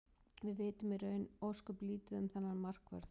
Við vitum í raun ósköp lítið um þennan markvörð.